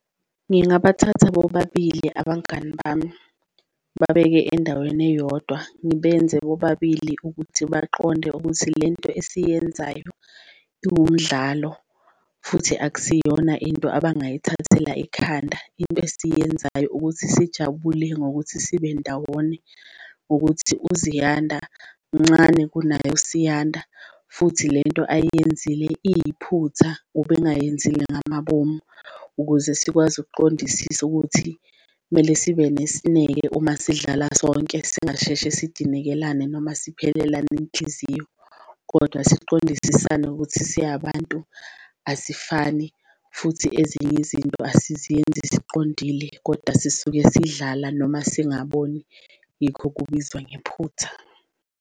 Ngingabathatha bobabili abangani bami babeke endaweni eyodwa, ngibenze bobabili ukuthi baqonde ukuthi lento esiyenzayo iwumdlalo futhi akusiyona into abangayithathela ekhanda, into esiyenzayo ukuthi sijabule ngokuthi sibendawone. Ngokuthi uZiyanda mncane kunaye uSiyanda futhi lento ayiyenzile iyiphutha ubengayenzile ngamabomu, ukuze sikwazi ukuqondisisa ukuthi kumele sibe nesineke uma sidlala sonke singasheshe sidinekelane noma siphelelane inhliziyo. Kodwa siqondisisane ukuthi siyabantu asifani futhi ezinye izinto asiziyenzi siqondile kodwa sisuke sidlala noma singaboni yikho kubizwa ngephutha.